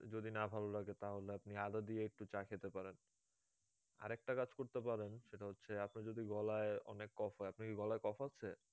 যদি না ভালো লাগে তাহলে আপনি অদা দিয়ে একটু চা খেতে পারেন আরেকটা কাজ করতে পারেন সেটা হচ্ছে আপনার যদি গলায় অনেক কফ হয়ে আপনার কি গলায় কফ হচ্ছে?